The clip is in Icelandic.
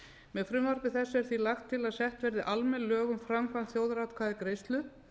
með frumvarpi þessu er því lagt til að sett verði almenn lög um framkvæmd þjóðaratkvæðagreiðslu